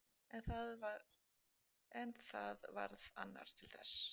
En það varð annar til þess.